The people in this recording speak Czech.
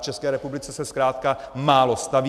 V České republice se zkrátka málo staví.